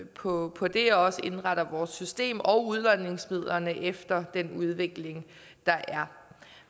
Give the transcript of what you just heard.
på på det også og indretter vores system og udlodningsmidlerne efter den udvikling der er